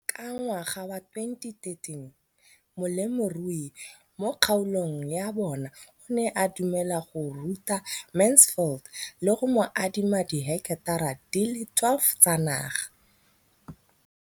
Ka ngwaga wa 2013, molemirui mo kgaolong ya bona o ne a dumela go ruta Mansfield le go mo adima di heketara di le 12 tsa naga.